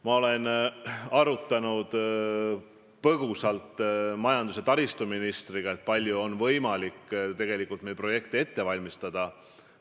Ma olen majandus- ja taristuministriga põgusalt arutanud, kui palju meil on tegelikult võimalik projekte ette valmistada.